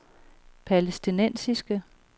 palæstinensiske